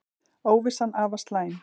Óvissan afar slæm